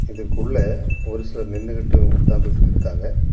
இதுக்குள்ள ஒரு சிலர் நின்னுகிட்டு உட்காந்துட்டு இருக்காங்க.